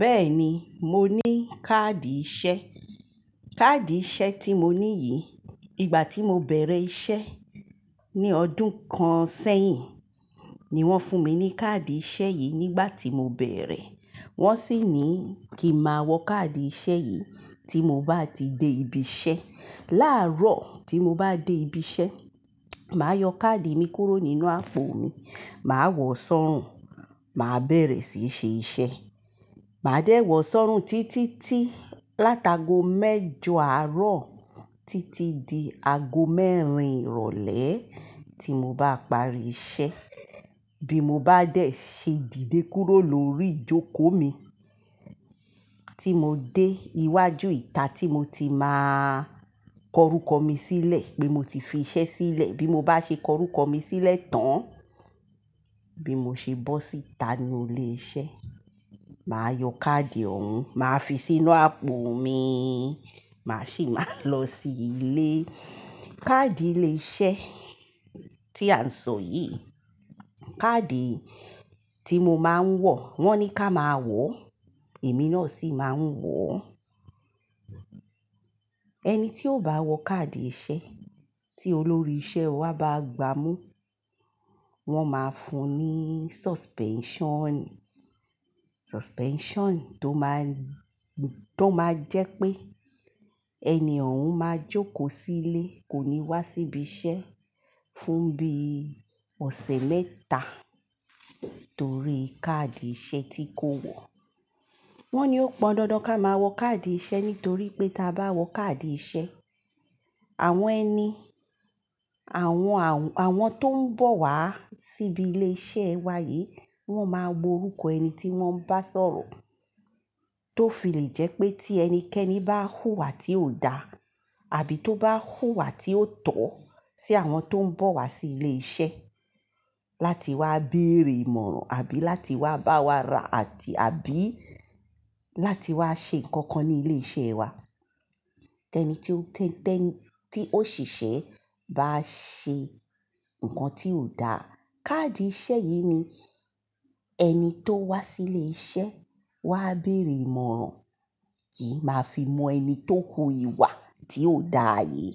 Bẹ́ẹ̀ ni, mo ní káàdì iṣẹ́. Káàdì iṣẹ́ tí mo ní yìí, ìgbà tí mo bẹ̀rẹ̀ iṣẹ́ ní ọdún kan sẹ́yìn ni wọ́n fún mi ní káàdì iṣẹ́ yìí nígbà tí mo bẹ̀rẹ̀. Wọ́n sì ní kí máa wọ káàdì iṣẹ́ yìí tí mo bá ti dé ibi iṣẹ́. Láàárọ̀ tí mo bá dé ibi iṣẹ́, màá yọ káàdì mi kúrò nínú àpò mi, màá wọ̀ ọ́ sọ́rùn, màá bẹ̀rẹ̀ sí í ṣe iṣẹ́. Màá dé wọ̀ ọ́ sọ́rùn títí látago mẹ́jọ àárọ̀ títí di ago mẹ́rin ìrọ̀lẹ́ tí mo bá parí iṣẹ́. Bí mo bá dẹ̀ ṣe dìde kúrò lórí ìjókòó mi tí mo dé iwájú ìta tí mo ti máa kọ rúkọ mi sílẹ̀ pé mo ti fi iṣẹ́ sílẹ̀. Bí mo bá ṣe kọ rúkọ mi sílẹ̀ tán, bí mo ṣe bọ́ síta nínú ilé iṣẹ́, màá yọ káàdì ọ̀hún, màá fi sínú àpò mi, màá sì máa lọ sí ilé. Káàdì ilé iṣẹ́ tí à ń sọ yìí, káàdì tí mo máa ń wọ̀, wọ́n ní ká máa wọ̀, èmi náà sì máa ń wọ̀ ọ́. Ẹni tí ó bá wọ káàdì iṣẹ́ tí olórí iṣẹ́ wa bá gbámú, wọ́n máa fún un ní suspension. Suspension tó máa, tó máa jẹ́ pé ènì òhún máa jókòó sí ilé, kò ní wá sí ibi iṣẹ́ fún bí ọ̀sẹ̀ mẹ́ta torí káàdì iṣẹ́ tí kò wọ̀. Wọ́n ni ó pọn dandan ká máa wọ káàdì iṣẹ́ nítorí pé tí a bá wọ káàdì iṣẹ́, àwọn ẹni, àwọn, àwọn tó ń bọ̀ wá síbi ilé iṣẹ́ wa yìí, wọ́n máa wo orúkọ ẹni tí wọ́n bá sọ̀rọ̀ tó fi lè jẹ́ pé tí ẹnikẹ́ni bá hùwà tí ò da àbí tó bá hùwà tí ó tọ́ sí àwọn tó ń bọ̀ wá sí ilé iṣẹ́ láti wá bèrè ìmọ̀ràn àbí láti wá bá wa ra àti àbí láti wá ṣe nǹkan kan ní ilé iṣẹ́ wa. Tẹni tí ó, tẹ́ni tí òṣìṣẹ́ bá ṣe nǹkan tí ò da, káàdì iṣẹ́ yìí ni ẹni tó wá sí ilé iṣẹ́ wá bèrè ìmọ̀ràn yìí máa fi mọ ẹni tó hu ìwà tí ò da yìí.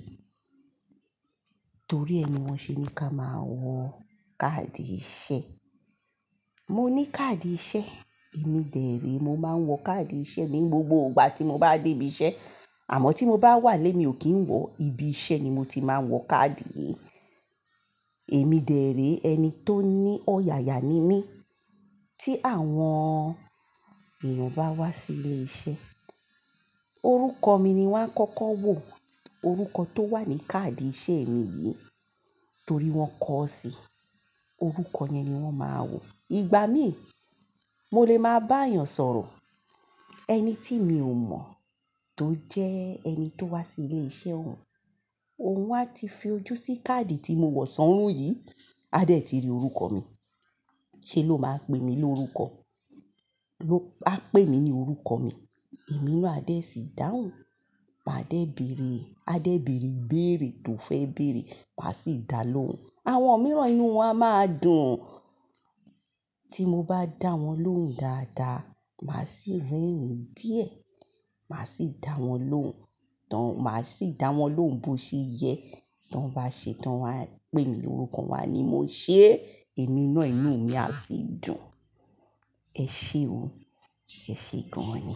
Torí ẹ ni wọ́n ṣe ní ká máa wọ káàdì iṣẹ́. Mo ní káàdì iṣẹ́. Èmi dẹ̀ réé, mo máa ń wọ káàdì iṣẹ́ mi ní gbogbo ìgbà tí mo bá dé ibi iṣẹ́. Àmọ́ tí mo bá wà nilé mi ò kí ń wọ, ibi iṣẹ́ ni mo ti máa ń wọ káàdì yìí. Èmi dẹ̀ ré ẹni tó ní ọ̀yàyà ni mí tí àwọn èèyàn bá wá sí ilé iṣẹ́. Orúkọ mi ni wọ́n á kọ́kọ́ wò. Orúkọ tó wà ní káàdì iṣẹ́ mi yìí torí wọ́n kọ ọ́ sí i. Orúkọ yẹn ni wọ́n máa wò. Ìgbà mí, mo lè máa bá èèyàn sọ̀rọ̀, ẹni tí mi ò mọ̀ tó jẹ́ ẹni tó wá sí ilé iṣẹ́ òun, òun á ti fi ojú sí káàdì tí mo wọ̀ sọ́rùn yìí, á dẹ̀ ti rí orúkọ mi. Ṣé ló máa pè mí lórúkọ? Á pè mí ní orúkọ mi, èmi náà á dẹ̀ sì dáhùn. Màá dẹ̀ bẹ̀rẹ̀, a dẹ̀ bẹ̀rẹ̀ ìbéèrè tó fẹ́ bẹ̀rẹ̀, màá sì dá lóhùn. Àwọn mìíràn inú wọn á máa dùn. Tí mo bá dá wọn lóhùn dáadáa, màá sì rẹ́rìn-ín díẹ̀. Màá sì dá wọn lóhùn, tán, màá sì dá wọn lóhùn bó ṣe yẹ. Tán wọ́n bá ṣe tán, wọ́n á pè mí lórúkọ, wọ́n á ní, "Mo ṣé èmi náà inú mi á sì dùn. Ẹ ṣe o. Ẹ ṣe gan-an ni."